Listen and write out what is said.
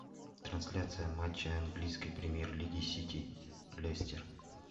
трансляция матча английской премьер лиги сити лестер